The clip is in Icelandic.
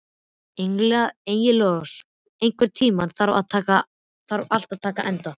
Engilrós, einhvern tímann þarf allt að taka enda.